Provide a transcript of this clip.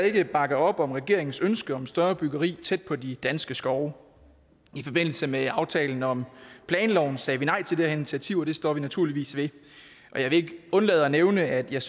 ikke bakke op om regeringens ønske om større byggeri tæt på de danske skove i forbindelse med aftalen om planloven sagde vi nej til det her initiativ og det står vi naturligvis ved jeg vil ikke undlade at nævne at jeg